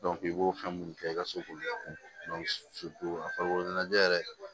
i b'o fɛn minnu kɛ i ka so a farikolo ɲɛnajɛ yɛrɛ